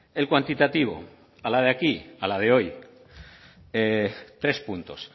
el cuantitativo a la de aquí a la de hoy tres puntos